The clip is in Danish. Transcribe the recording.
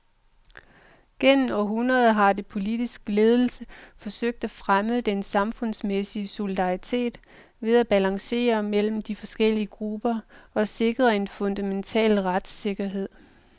Gennem århundreder havde den politiske ledelse forsøgt at fremme den samfundsmæssige solidaritet ved at balancere mellem de forskellige grupper og sikre en fundamental retssikkerhed.